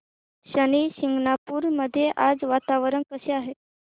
शनी शिंगणापूर मध्ये आज वातावरण कसे आहे